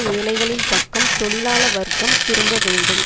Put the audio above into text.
ஏழைகளின் பக்கம் தொழிலாள வர்க்கம் திரும்ப வேண்டும்